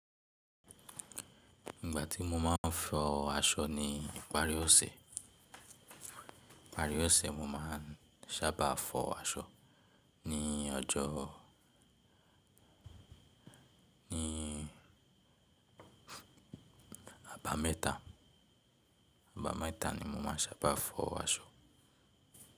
Ìgbà tí mo máa ń fọ aṣọ ni ìparí ọ̀sẹ̀, ìparí ọ̀sẹ̀ mo máa ń sábà fọ aṣọ ní ọjọ́, ní abamẹ́ta, abamẹ́ta ni mo máa ń sábà fọ aṣọ.